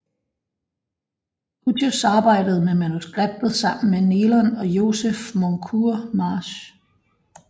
Hughes arbejdede med manuskriptet sammen med Neilan og Joseph Moncure March